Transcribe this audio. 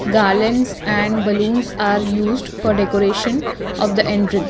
garlands and balloons are used for decoration of the entrance.